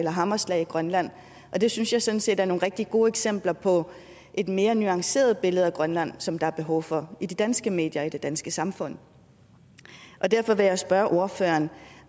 og hammerslag i grønland og det synes jeg sådan set er nogle rigtig gode eksempler på et mere nuanceret billede af grønland som der er behov for i de danske medier og i det danske samfund derfor vil jeg spørge ordføreren